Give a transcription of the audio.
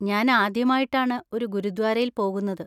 ഞാൻ ആദ്യമായിട്ടാണ് ഒരു ഗുരുദ്വാരയിൽ പോകുന്നത്.